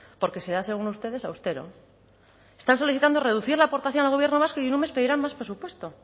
porque será según ustedes austero están solicitando reducir la aportación al gobierno vasco y en un mes pedirán más presupuesto